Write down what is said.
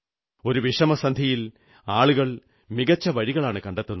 ഒരു വിഷമസന്ധിയിൽ ആളുകൾ മികച്ച വഴികളാണു കണ്ടെത്തുന്നത്